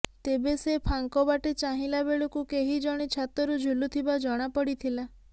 ତେବେ ସେ ଫାଙ୍କ ବାଟେ ଚାହିଁଲା ବେଳକୁ କେହି ଜଣେ ଛାତରୁ ଝୁଲୁଥିବା ଜଣାପଡ଼ିଥିଲା